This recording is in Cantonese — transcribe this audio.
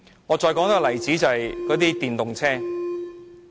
我再舉一個例子，電動車。